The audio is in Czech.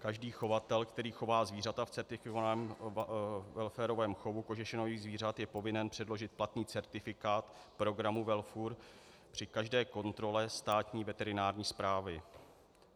Každý chovatel, který chová zvířata v certifikovaném WelFurovém chovu kožešinových zvířat, je povinen předložit platný certifikát programu WellFur při každé kontrole Státní veterinární správy."